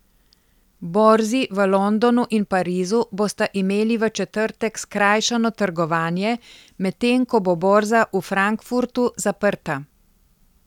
Borzi v Londonu in Parizu bosta imeli v četrtek skrajšano trgovanje, medtem ko bo borza v Frankfurtu zaprta.